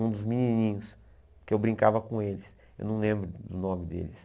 Um dos menininhos, que eu brincava com eles, eu não lembro do nome deles.